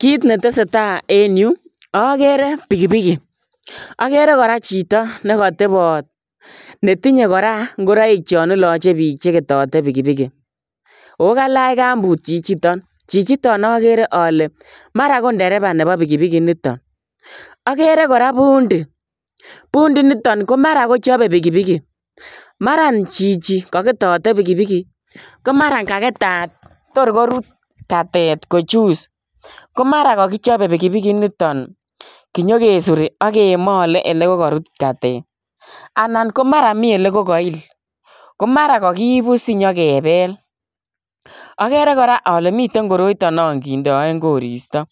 Kiit ne tesetai en Yuu ii agere pikipiki agere kora chitoo nekatabaat netinye koraa ingoraik chaan ilaachei biik yaan ketetatei pikipiki ooh kalaach kampuut chichitoon chichitoon agere ale mara ko ndereba nebo pikipiki initoon agere kora bundii mara bundii nechape pikipiki initoon mara nguni ko ketatei pikipiki ko maran ko kaketat toor koruut katet kochuus ko mara ko kakichape pikipiki initoon kinyokesore age malee ole karuut katet anan ko maraa Mii ole kail ko maraa kakiibu sinyokebel agere kora ale miten koroitoo naan kindeen koristoi